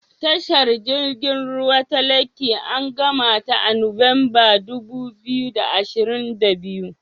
Tashar jirgin ruwa ta Lekki an gamata a Nuwanbar dubu biyu da ashirin da biyu.